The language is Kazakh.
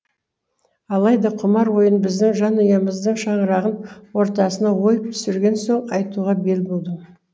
алайда құмар ойын біздің жанұямыздың шаңырағын ортасына ойып түсірген соң айтуға бел будым